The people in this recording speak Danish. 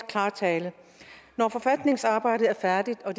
klar tale når forfatningsarbejdet er færdigt og